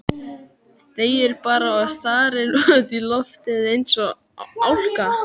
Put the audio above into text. Þegir bara og starir út í loftið eins og álka.